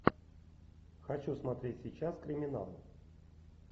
хочу смотреть сейчас криминал